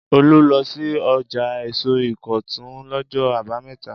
Olú lọ sí ọjà èso Ìkọ̀tún lọ́jọ́ àbámẹ́ta?